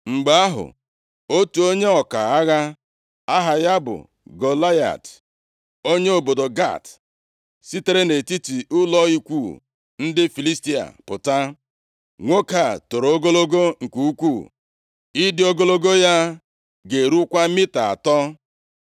Mgbe ahụ, otu onye ọka agha aha ya bụ Golaịat, + 17:4 Golaịat bụ onye si nʼagbụrụ ndị Anak, ndị Joshua kpochapụrụ nʼala Izrel niile, karịakwa ndị fọdụrụ na Gaza, Ashkelọn na Gat. \+xt Jos 11:21-22\+xt* onye obodo Gat, sitere nʼetiti ụlọ ikwu ndị Filistia pụta. Nwoke a toro ogologo nke ukwuu; ịdị ogologo ya ga-erukwa mita atọ.